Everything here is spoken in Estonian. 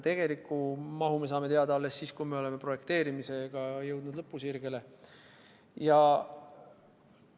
Tegeliku mahu me saame teada alles siis, kui oleme projekteerimisega lõpusirgele jõudnud.